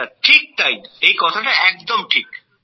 হ্যাঁ স্যার এই কথাটা একদম ঠিক